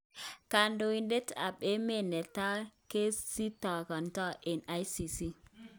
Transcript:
Kondoitet ap emet ne taa kesitakatat en ICC